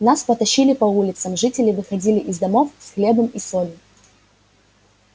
нас потащили по улицам жители выходили из домов с хлебом и солью